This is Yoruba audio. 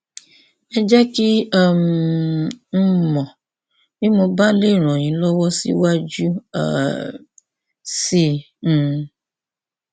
ẹ jẹ kí um n mọ bí mo bá lè ràn yín lọwọ síwájú um sí i um